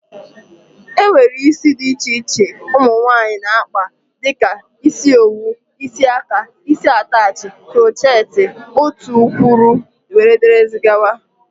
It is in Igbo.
E nwere ụdị isi dị iche iche ụmụnwaanyi na-akpa dịka isi owu,, isi aka, isi atachị, croocheti ,otukwuru wdg.